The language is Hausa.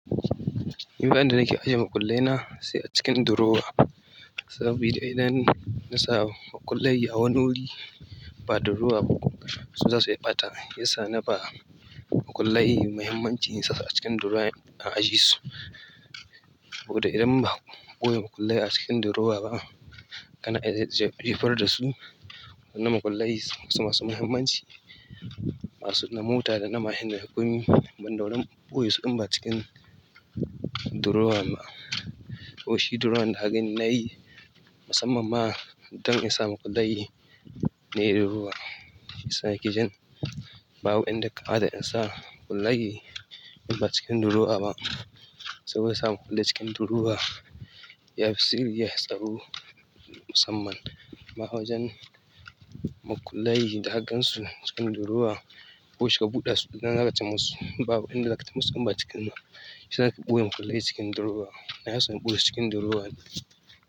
Nifa inda nake ajiye makullai na sai a cikin durowa. Saboda idan na sa makullai a wani wuri ba durowa ba, su zasu yi ɓata. Yasa na ba makullai muhimmancin su a cikin durowa ina ajisu. Duk da idan ba ɓoye makullai a cikin durowa ba kana iya jefar da su. Na makullai su masu muhimmanci. Da mota dana mashin dana komai banda wurin boyesu in ba cikin durowa ba to shi durowan da hakan na yi, musamman ma idan in sa makullai na yi ruwa. Shiyasa nakejin babu inda ya kamat nasa makullai in ba cikin durowa ba. Saboda in sa makullai cikin durowa, ya fi sirri ya fi tsaro musamman ma wajan makullai da hakan su cikin durowa, washi ka buɗe su da naka cema su. Babu inda zaka cemu su in ba cikin nan. Shiyasa nake ɓoye makullai cikin durowa inason boyesu cikin durowa.